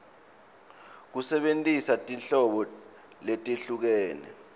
kusebentisa tinhlobo letehlukene